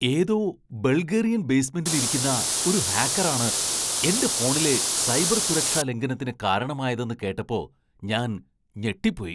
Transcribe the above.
ഏതോ ബൾഗേറിയൻ ബേസ്മെൻ്റിൽ ഇരിക്കുന്ന ഒരു ഹാക്കറാണ് എന്റെ ഫോണിലെ സൈബർ സുരക്ഷാ ലംഘനത്തിന് കാരണമായതെന്ന് കേട്ടപ്പോ ഞാൻ ഞെട്ടിപ്പോയി.